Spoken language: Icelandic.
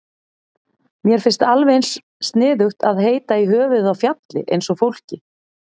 Mér finnst alveg eins sniðugt að heita í höfuðið á fjalli eins og fólki.